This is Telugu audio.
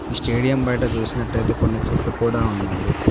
స్టేడియం బయట చూసినట్టయితే కొన్ని చెట్లు కూడా ఉన్నాయి.